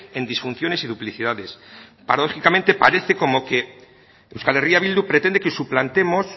en disfunciones y duplicidades paradójicamente parece como que euskal herria bildu pretende que suplantemos